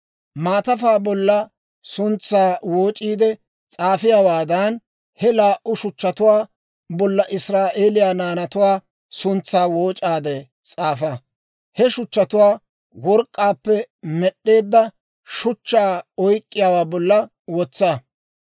Maatafaa bolla suntsaa wooc'iide s'aafiyaawaadan, he laa"u shuchchatuwaa bolla Israa'eeliyaa naanatuwaa suntsaa wooc'aade s'aafa; he shuchchatuwaa work'k'aappe med'd'eedda shuchchaa oyk'k'iyaawaa bolla wotsa.